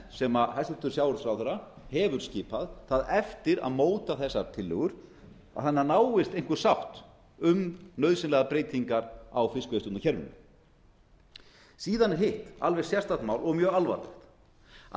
sem hæstvirtur sjávarútvegsráðherra hefur skipað það eftir að móta þessar tillögur þannig að náist einhver sátt um nauðsynlegar breytingar á fiskveiðistjórnarkerfinu síðan er hitt alveg sérstakt mál og mjög alvarlegt að